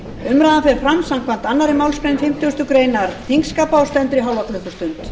umræðan fer fram samkvæmt annarri málsgrein fimmtugustu grein þingskapa og stendur í hálfa klukkustund